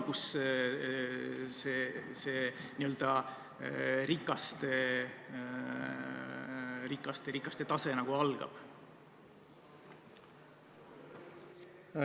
Kus see piir on, kus see n-ö rikaste tase algab?